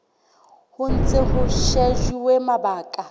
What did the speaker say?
ho ntse ho shejuwe mabaka